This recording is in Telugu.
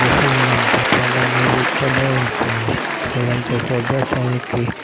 మధ్య చాల మేలుపోధ ఉంటుంది అలాంటి ప్రదేశానికి --